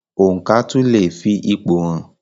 Oǹkà tún leè fi ipò hàn.